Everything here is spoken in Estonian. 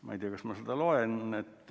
Ma ei tea, kas ma seda ette loen.